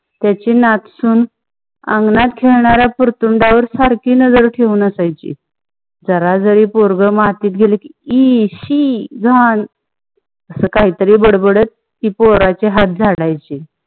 त्यांची नात सून अंगणात खेळणाऱ्या पुर्तुण्डवर वर सारखी नजर ठेऊन असयाची. जरा जारी पोरग मातीत गेल ई! शी! घाण! असकाहीतरी बंड बडत ती पोरींची हाथ झाडयाची.